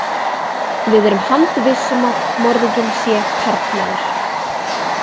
Við erum handviss um að morðinginn sé karlmaður.